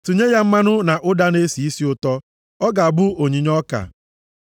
Tinye ya mmanụ na ụda na-esi isi ụtọ. Ọ ga-abụ onyinye ọka.